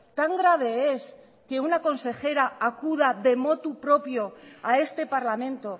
tan grave es que una consejera acuda de motu propio a este parlamento